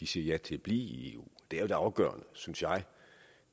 siger ja til at blive i eu det afgørende synes jeg